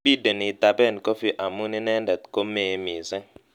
Bideni itapen Kofi amu inendet komee mising'